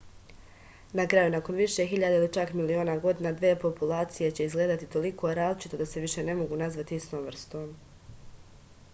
na kraju nakon više hiljada ili čak miliona godina dve populacije će izgledati toliko različito da se više ne mogu nazvati istom vrstom